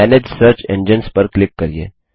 manage search engines पर click करिये